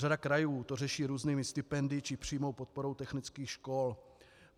Řada krajů to řeší různými stipendii či přímou podporou technických škol.